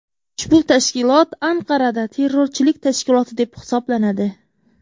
Ushbu tashkilot Anqarada terrorchilik tashkiloti deb hisoblanadi.